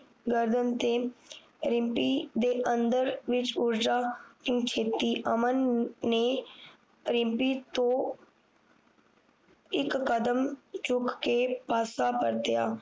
ਗਰਦਨ ਤੇ ਰਿਮਪੀ ਦੇ ਅੰਦਰ ਵਿਚ ਊਰਜਾ ਕਿਊ ਛੱਡੀ ਅਮਨ ਨੇ ਰਿਮਪੀ ਤੋਂ ਇਕ ਕਦਮ ਰੁਕ ਕੇ ਪਾਸਾ ਪਲਟਿਆ